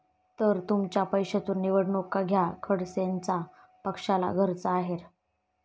...तर तुमच्या पैशातून निवडणुका घ्या, खडसेंचा पक्षाला घरचा आहेर